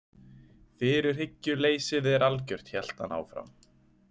Fyrirhyggjuleysið er algjört, hélt hann áfram.